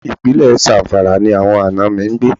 Ìpínlẹ̀ Zamfara ni àwọn àna mi ń gbé.